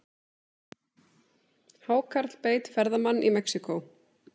Hákarl beit ferðamann í Mexíkó